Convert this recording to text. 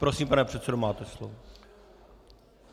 Prosím, pane předsedo, máte slovo.